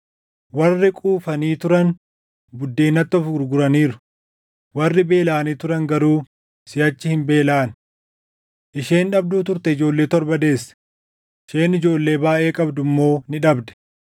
Warri quufanii turan buddeenatti of gurguraniiru; warri beelaʼanii turan garuu siʼachi hin beelaʼan. Isheen dhabduu turte ijoollee torba deesse; isheen ijoollee baayʼee qabdu immoo ni dhabde.